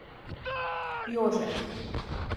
Jože.